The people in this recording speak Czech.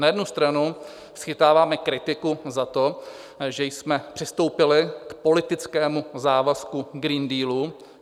Na jednu stranu schytáváme kritiku za to, že jsme přistoupili k politickému závazku Green Dealu.